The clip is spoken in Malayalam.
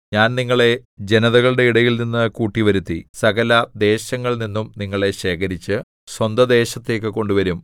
ഞാൻ നിങ്ങളെ ജനതകളുടെ ഇടയിൽനിന്ന് കൂട്ടിവരുത്തി സകലദേശങ്ങളിൽനിന്നും നിങ്ങളെ ശേഖരിച്ച് സ്വന്തദേശത്തേക്കു കൊണ്ടുവരും